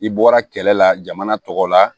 I bɔra kɛlɛ la jamana tɔgɔ la